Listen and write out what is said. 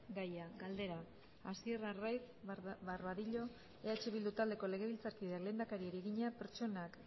gaia galdera hasier arraiz barbadillo eh bildu taldeko legebiltzarkideak lehendakariari egina pertsonak